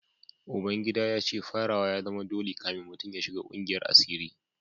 Uba gida ya ce farawa ya zama dole kafin mutum ya shiga kungiyar asiri